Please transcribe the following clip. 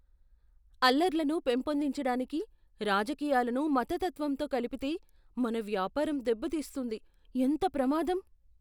అల్లర్లను పెంపొందించడానికి రాజకీయాలను మతతత్వంతో కలిపితే, మన వ్యాపారం దెబ్బతీస్తుంది. ఎంత ప్రమాదం!